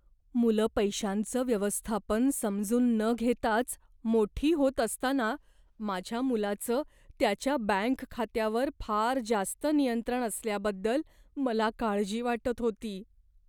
मुलं पैशांचं व्यवस्थापन समजून न घेताच मोठी होत असताना माझ्या मुलाचं त्याच्या बँक खात्यावर फार जास्त नियंत्रण असल्याबद्दल मला काळजी वाटत होती.